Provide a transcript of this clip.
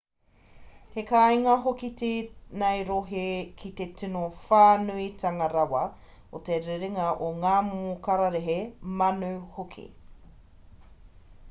he kāinga hoki tēnei rohe ki te tino whānuitanga rawa o te rerenga o ngā momo kararehe manu hoki